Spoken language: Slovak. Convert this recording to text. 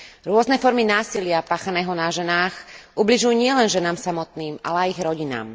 Rôzne formy násilia páchaného na ženách ubližujú nielen ženám samotným, ale aj ich rodinám.